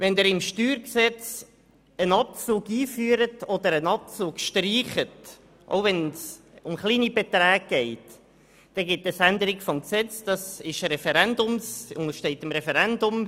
Wenn Sie im StG einen Abzug einführen oder einen Abzug streichen, dann ergibt das auch bei kleinen Beträgen eine Änderung des Gesetzes, und diese untersteht dem Referendum.